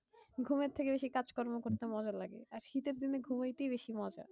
ঘুম এর থেকে বেশি কাজ কর্ম করতে মজা লাগে। আর শীতের দিনে ঘুমাইতেই বেশি মজা।